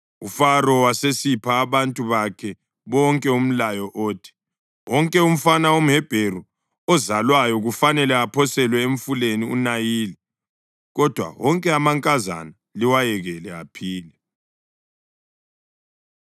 UFaro wasesipha abantu bakhe bonke umlayo othi: “Wonke umfana womHebheru ozalwayo kufanele aphoselwe emfuleni uNayili, kodwa wonke amankazana liwayekele aphile.”